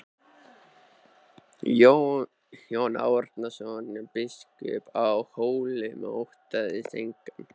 Jón Arason biskup á Hólum óttaðist engan.